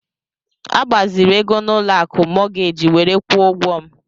Agbaziri ego n'ụlọ akụ mọọgeeji were kwụọ ụgwọ m.